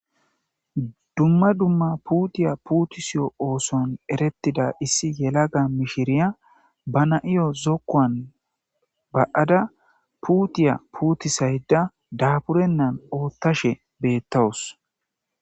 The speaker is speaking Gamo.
dumma dumma puutiya puutusiyo ooson erettida issi yelaga mishiriya ba na7iyo zokkoan ba7ada puutiya puutisayda daburennan oottashe beettawus